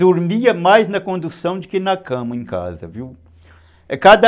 dormia mais na condução do que na cama em casa, viu? É cada